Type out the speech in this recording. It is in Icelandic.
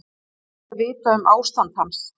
Ekki er vitað um ástand hans